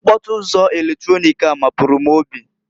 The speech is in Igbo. Mkpọtụ ụzọ eletronik a mapụrụ m obi.